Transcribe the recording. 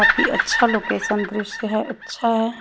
अभी अच्छा लोकेशन दृश हे अच्छा हैं।